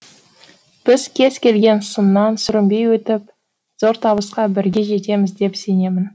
біз кез келген сыннан сүрінбей өтіп зор табысқа бірге жетеміз деп сенемін